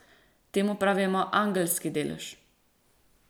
Temu pravimo angelski delež.